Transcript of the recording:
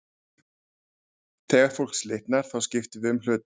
Þegar fólk slitnar, þá skiptum við um hluta.